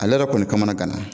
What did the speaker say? Ale yɛrɛ kɔni kamanaganna.